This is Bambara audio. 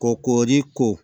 Kɔ koori ko